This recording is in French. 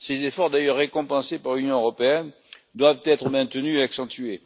Ces efforts, d'ailleurs récompensés par l'Union européenne, doivent être maintenus et accentués.